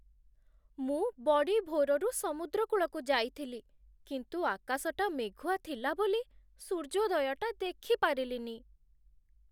ମୁଁ ବଡ଼ିଭୋରରୁ ସମୁଦ୍ରକୂଳକୁ ଯାଇଥିଲି, କିନ୍ତୁ ଆକାଶଟା ମେଘୁଆ ଥିଲା ବୋଲି, ସୂର୍ଯ୍ୟୋଦୟଟା ଦେଖିପାରିଲିନି ।